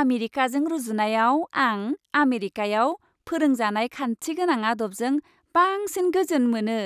आमेरिकाजों रुजुनायाव, आं आमेरिकायाव फोरोंजानाय खान्थि गोनां आदबजों बांसिन गोजोन मोनो।